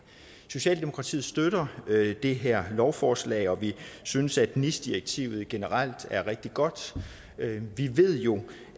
socialdemokratiet støtter det her lovforslag og vi synes at nis direktivet generelt er rigtig godt vi ved jo